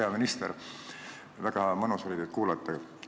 Hea minister, väga mõnus oli teid kuulata!